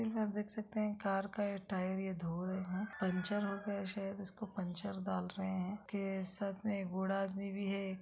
चित्र में आप देख सकते हैं कार का टायर ये धो रहे है पंक्चर हो गया है शायद उसको पंचर डाल रहे हैं फिर साथ में एक बूढ़ा आदमी भी है।